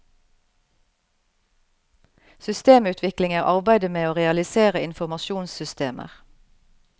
Systemutvikling er arbeidet med å realisere informasjonssystemer.